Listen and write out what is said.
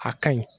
A kaɲi